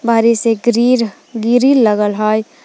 बहरे से गीरीर गिरिल लगल हय।